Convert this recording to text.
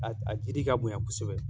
A jiri ka bonya kosɛbɛ